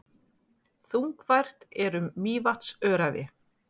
Þungfært er um Mývatnsöræfi